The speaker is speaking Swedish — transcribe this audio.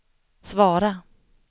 svara